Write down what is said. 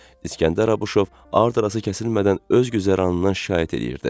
İskəndər Abuşov ardı-arası kəsilmədən öz güzəranından şikayət eləyirdi.